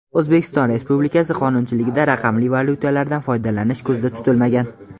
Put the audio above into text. O‘zbekiston Republikasi qonunchiligida raqamli valyutalardan foydalanish ko‘zda tutilmagan.